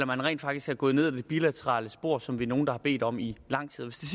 man rent faktisk er gået ned ad det bilaterale spor som vi er nogle der har bedt om i lang tid hvis det